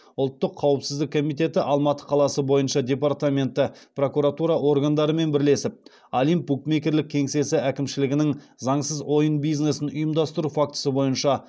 ұлттық қауіпсіздік комитеті алматы қаласы бойынша департаменті прокуратура органдарымен бірлесіп олимп букмекерлік кеңсесі әкімшілігінің заңсыз ойын бизнесін ұйымдастыру фактісі бойынша